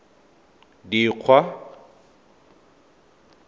dikgwa